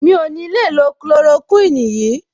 Mi ò ní le lo chloroquine yìí.